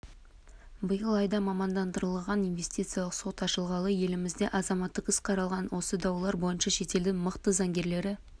биыл айда мамандандырылған инвестициялық сот ашылғалы елімізде азаматтық іс қаралған осы даулар бойынша шетелдің мықты заңгерлері